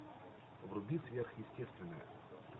вруби сверхъестественное